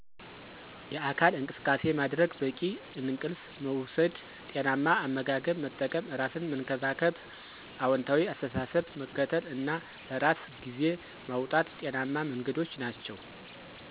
የአካል እንቅሰቃሴ ማድረግ፣ በቂ እንቅልፍ መውሰድ፣ ጤናማ አመጋገብ መጠቀም፣ ራሰን መንከባከብ፣ አውንታዊ አሰተሳሰብ መከተል እና ለራሰ ግዜ ማውጣት ጤናማ መንገዶች ናቸዉ።